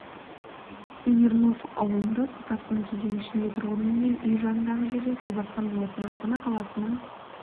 смирнов ауылында су тасқыны кезеңі ішінде тұрғын-үй мен үй жаныңдағы жерді су басқан болатын астана қаласының